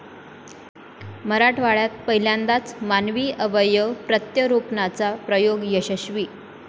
मराठवाड्यात पहिल्यांदाच मानवी अवयव प्रत्यारोपणाचा प्रयोग यशस्वी